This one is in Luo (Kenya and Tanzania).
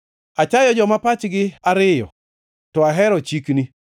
Achayo joma pachgi ariyo, to ahero chikni.